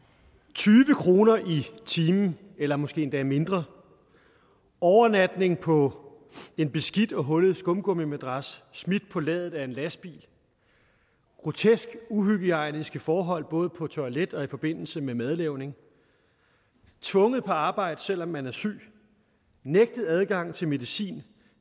tyve kroner i timen eller måske endda mindre overnatning på en beskidt og hullet skumgummimadras smidt på ladet af en lastbil groteske uhygiejniske forhold både på toilet og i forbindelse med madlavning tvunget på arbejde selv om man er syg nægtet adgang til medicin